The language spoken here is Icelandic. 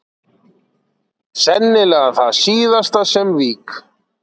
Sennilega það síðasta sem vík